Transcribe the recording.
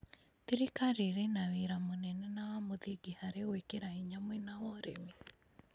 Thirikari ĩrĩ na wĩra mũnene na wa mũthingi harĩ gwĩkĩra hinya mwena wa ũrĩmi.